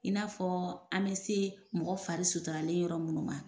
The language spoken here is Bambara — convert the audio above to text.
In n'a fɔ an bɛ se mɔgɔ fari suturale yɔrɔ minnu ma.